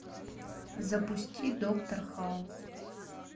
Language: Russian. запусти доктор хаус